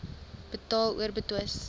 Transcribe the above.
betaal or betwis